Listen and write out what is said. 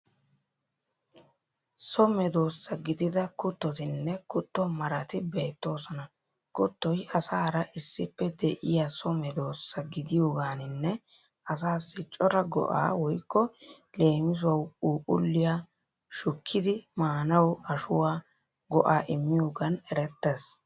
So medoosa gidida kuttotinne kutto marati beettoosona. Kuttoy asaara issippe de'iya so medoosa gidiyogaaninne asaassi cora go'aa (leemisuwawu puupulliyanne shukkidi maanawu ashuwa) go'aa immiyogan erettees.